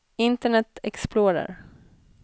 internet explorer